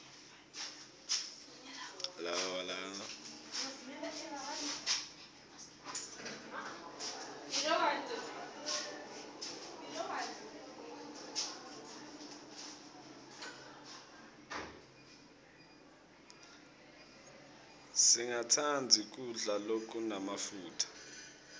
singatsandzi kudla lokunemafutsa